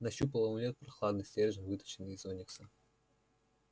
нащупал амулет прохладный стержень выточенный из оникса